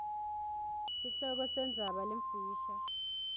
sihloko sendzaba lemfisha